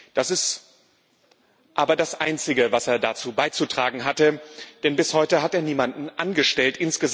Das ist aber das Einzige, was er dazu beizutragen hatte, denn bis heute hat er niemanden angestellt.